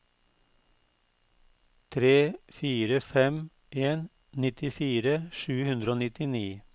tre fire fem en nittifire sju hundre og nittini